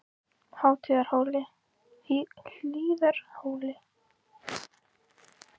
Hlíðarhóli